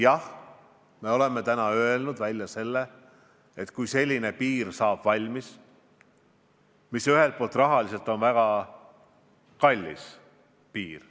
Jah, me oleme välja öelnud, et kui selline piir saab valmis, siis ühelt poolt on see rahaliselt väga kallis piir.